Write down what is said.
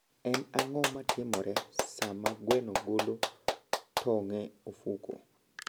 En ang'o matimore sama gweno golo tong' e ofuko?